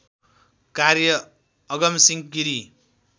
कार्य अगमसिंह गिरी